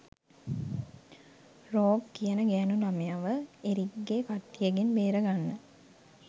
rogue කියන ගෑණු ළමයව එරික්ගේ කට්ටියගෙන් බේරගන්න